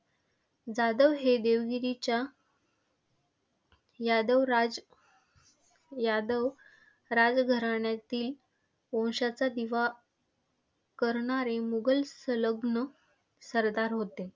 जाधव हे देवगिरीच्या यादव राज यादव राज घराण्यातील वंशाचा दिवा करणारे मुघल संलग्न सरदार होते.